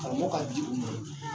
Karamɔgɔ ka di u ma